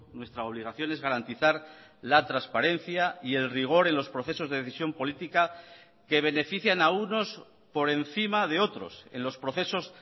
nuestra obligación es garantizar la transparencia y el rigor en los procesos de decisión política que benefician a unos por encima de otros en los procesos